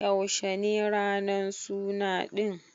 Yaushe ne ranan suna ɗin?